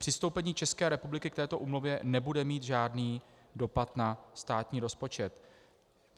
Přistoupení České republiky k této úmluvě nebude mít žádný dopad na státní rozpočet.